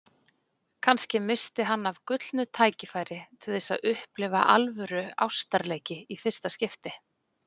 Kannski missti hann af gullnu tækifæri til þess að upplifa alvöru ástarleiki í fyrsta skipti.